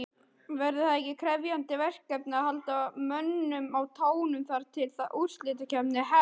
Verður það ekki krefjandi verkefni að halda mönnum á tánum þar til að úrslitakeppnin hefst?